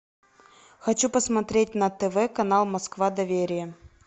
хочу посмотреть на тв канал москва доверие